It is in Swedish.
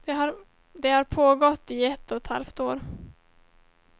Det har pågått i ett och ett halvt år.